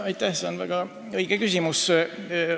Aitäh, see on väga õige küsimus.